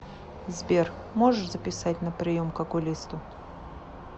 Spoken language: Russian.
сбер можешь записать на прием к окулисту